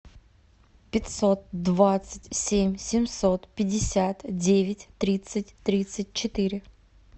пятьсот двадцать семь семьсот пятьдесят девять тридцать тридцать четыре